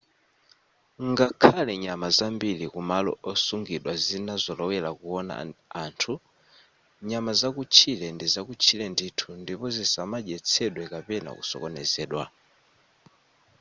ngakhale nyama zambiri kumalo osungidwa zinazolowera kuwona anthu nyama zakutchire ndizakutchire ndithu ndipo zisamadyetsedwe kapena kusokonezedwa